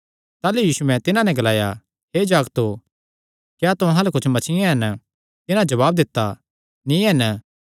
ताह़लू यीशुयैं तिन्हां नैं ग्लाया हे जागतो क्या तुहां अल्ल कुच्छ मच्छियां हन तिन्हां जवाब दित्ता नीं हन